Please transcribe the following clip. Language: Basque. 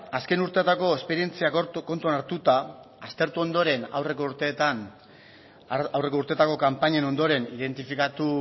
azken urteetako esperientzia kontuan hartuta aztertu ondoren aurreko urteetako kanpainen ondoren identifikatu